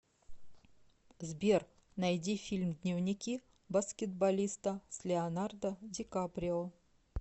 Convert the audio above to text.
сбер найди фильм дневники баскетболиста с леонардо ди каприо